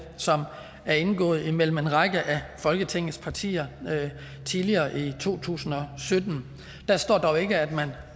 som er indgået imellem en række af folketingets partier tidligere i to tusind og sytten der står dog ikke at man